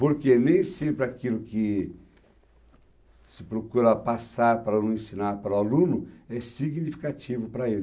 Porque nem sempre aquilo que se procura passar para o aluno, ensinar para o aluno, é significativo para ele.